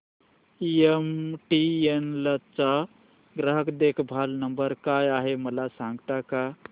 MTNL चा ग्राहक देखभाल नंबर काय आहे मला सांगता का